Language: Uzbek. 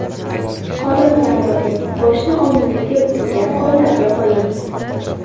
Qorin bilan yoting, boshni oldingizga bukilgan qo‘llarga qo‘ying.